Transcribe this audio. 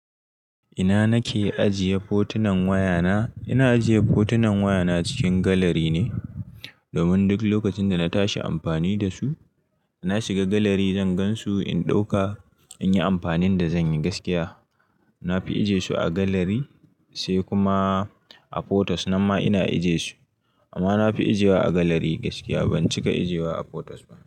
Ina nake ajiye fotunan wayana? Ina ajiye fotunan wayana cikin galari ne domin duk lokacin da na tashi amfani da su, na shiga galari zan gan su, in ɗauka in yi amfanin da zan yi gaskiya. Na fi ajiye su a galari sai kuma a photos nan ma ina ajiye su amma na fi ajiyewa a galari gaskiya ban cika ajiyewa a photos ba.